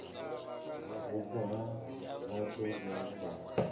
vhupo ha vhathu vhe vha